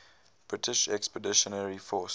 british expeditionary force